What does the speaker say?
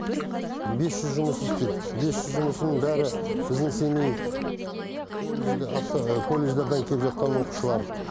бес жүз жұмыс істейді бес жүз жұмысының бәрі біздің семей колледждарынан келіп жатқан оқушылар